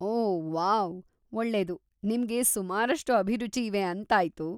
ಓ wow, ಒಳ್ಳೇದು, ನಿಮ್ಗೆ ಸುಮಾರಷ್ಟು ಅಭಿರುಚಿ ಇವೆ ಅಂತಾಯ್ತು.